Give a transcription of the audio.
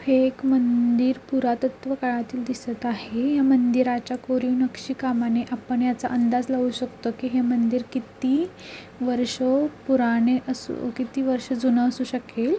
हे एक मंदिर पुरातत्व काळातील दिसत आहे या मंदिराच्या कोरीव नक्षी कामाने आपण याचा अंदाज लावू शकतो की हे मंदिर किती वर्ष पुराणे अस किती वर्ष जुना असू शकेल.